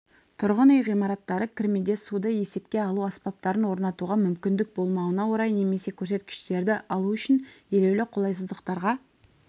тұрғын үй ғимараттары кірмеде суды есепке алу аспаптарын орнатуға мүмкіндік болмауына орай немесе көрсеткіштерді алу үшін елеулі қолайсыздықтарға